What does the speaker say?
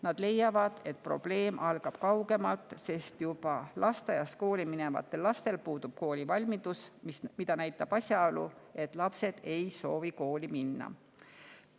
Nad leiavad, et probleem algab kaugemalt, sest juba lasteaiast kooli minevatel lastel puudub koolivalmidus, mida näitab asjaolu, et lapsed ei soovi kooli minna.